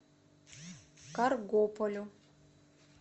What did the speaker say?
каргополю